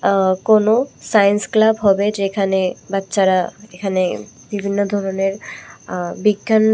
আ কোনো science club হবে যেখানে বাচ্চারা এখানে বিভিন্ন ধরনের আ বিজ্ঞান--